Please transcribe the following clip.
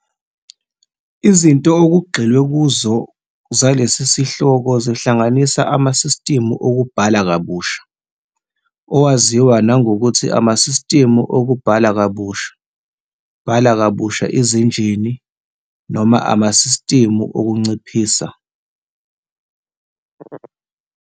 Izinto okugxilwe kuzo zalesi sihloko zihlanganisa amasistimu okubhala kabusha, owaziwa nangokuthi amasistimu okubhala kabusha, bhala kabusha izinjini, noma amasistimu okunciphisa.